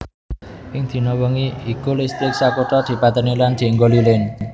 Ing dina wengi iku listrik sakutha dipatèni lan dienggo lilin